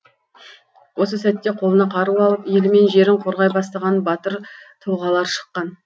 осы сәтте қолына қару алып елі мен жерін қорғай бастаған батыр тұлғалар шыққан